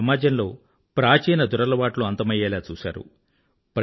మన సమాజంలో ప్రాచీన దురలవాట్లు అంతమయ్యేలా చూశారు